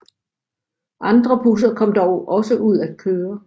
Andre busser kom dog også ud at køre